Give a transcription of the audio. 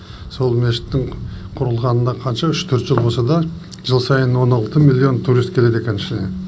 сол мешіттің құрылғанына қанша үш төрт жыл болса да жыл сайын он алты миллион турист келеді екен ішіне